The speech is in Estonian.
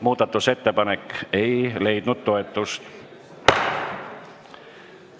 Muudatusettepanek ei leidnud toetust.